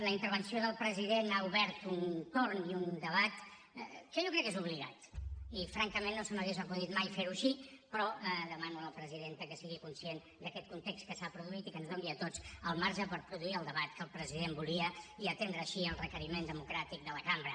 la intervenció del president ha obert un torn i un debat que jo crec que és obligat i francament no se m’hauria acudit mai fer ho així però demano a la presidenta que sigui conscient d’aquest context que s’ha produït i que ens doni a tots el marge per produir el debat que el president volia i atendre així al requeriment democràtic de la cambra